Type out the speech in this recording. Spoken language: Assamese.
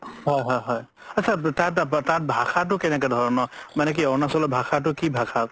হয় হয় হয় আতচা তাত ভাষাতো কেনেকুৱা ধৰণৰ মানে কি অৰুণাচলত ভাষাতো কি ভাষা